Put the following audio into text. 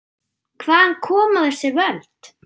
Hvaðan koma þessi völd?